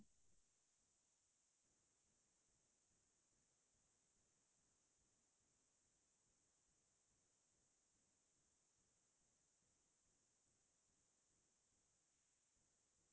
আৰু এই য্'তে ত্'তে জাৱৰবোৰ পেলাই দিয়া plastic ক্'ৰ বাকলি বোৰ drain ত পেলাই দিয়া আমি সেই চব য্দি নিজেই সাবধান নকৰো নিজেই য্দি dustbin আমি plastic ক্'ৰ জাৱৰটো